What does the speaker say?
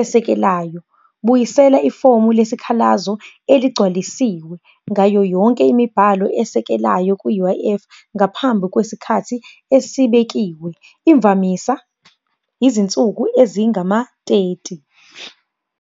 esekelayo. Buyisela ifomu lesikhalazo eligcwalisiwe yonke imibhalo asekelayo ku-U_I_F ngaphambi kwesikhathi esibekiwe, imvamisa izinsuku ezingama-thirty.